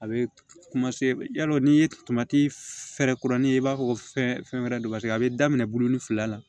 A bɛ yalo n'i ye kuranin ye i b'a fɔ ko fɛn wɛrɛ don paseke a bɛ daminɛ bulon ni fila la